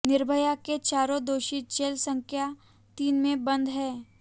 निर्भया के चारों दोषी जेल संख्या तीन में बंद हैं